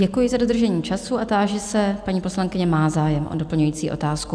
Děkuji za dodržení času a táži se - paní poslankyně má zájem o doplňující otázku.